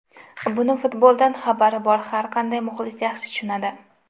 Buni futboldan xabari bor har qanday muxlis yaxshi tushunadi.